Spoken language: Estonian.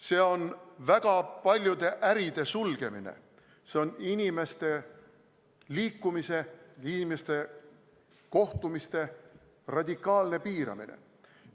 See on väga paljude äride sulgemine, see on inimeste liikumise, inimeste kohtumiste radikaalne piiramine.